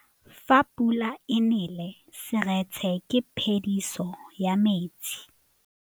Fa pula e nelê serêtsê ke phêdisô ya metsi.